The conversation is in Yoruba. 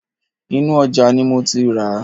Inú ojà ni mo ti ràá